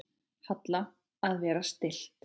Halla: Að vera stillt.